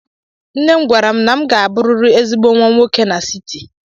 Nne m gwara m na m ga-abụrịrị ezigbo nwa nwoke n'siti.